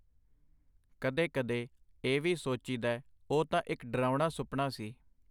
ਕਦੇ ਕਦੇ ਇਹ ਵੀ ਸੋਚੀਦੈ ਉਹ ਤਾਂ ਇੱਕ ਡਰਾਉਣਾ ਸੁਪਨਾ ਸੀ.